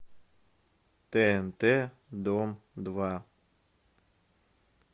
тнт дом два